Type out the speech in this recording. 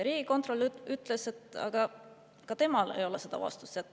Riigikontrolör ütles, et ka temal ei ole seda vastust.